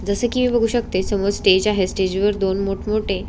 जसे कि मी बघू शकते समोर स्टेज आहे स्टेज वर दोन मोठ मोठे--